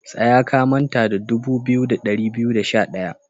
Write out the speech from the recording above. Tsaya, ka manta da dubu biyu da dari biyu da sha daya!